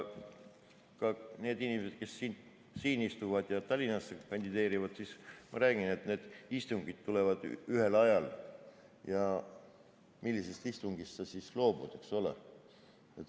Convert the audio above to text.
Ka need inimesed, kes siin istuvad ja Tallinnas kandideerivad – ma räägin, et need istungid on ühel ajal ja millisest istungist sa siis loobud, eks ole.